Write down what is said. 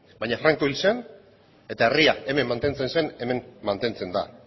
baina franco hil zen eta herria hemen mantentzen zen hemen mantentzen da